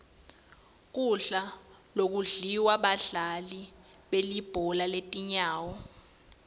kudla lokudliwa badlali belibhola letinyawo